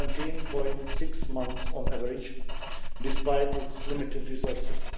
17.6 months on average, despite its limited resources.